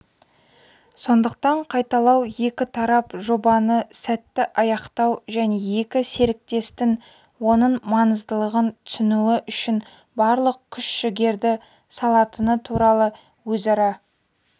сондықтан қайталау екі тарап жобаны сәтті аяқтау және екі серіктестің оның маңыздылығын түсінуі үшін барлық күш-жігерді салатыны туралы өзара